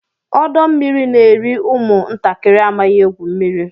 Ọdọ mmiri n'eri ụmụ ntakịrị amaghị egwu mmiri.